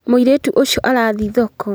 Mũirĩtu ũcio arathiĩ thoko